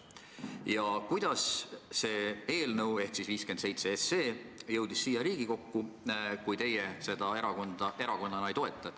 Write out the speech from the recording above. Ja kuidas see eelnõu ehk siis 57 SE jõudis siia Riigikokku, kui teie seda erakonnana ei toeta?